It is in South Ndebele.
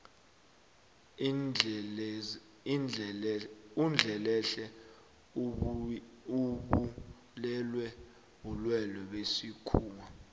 undlelehle ubulewe bulwelwe besikhuwa